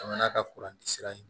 Jamana ka kuranti sira in